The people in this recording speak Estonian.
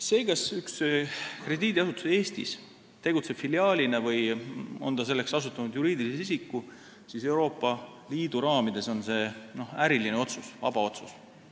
See, kas üks krediidiasutus Eestis tegutseb filiaalina või on ta selleks asutanud juriidilise isiku – Euroopa Liidu raamides on see äriline otsus, vaba otsus.